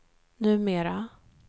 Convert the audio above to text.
numera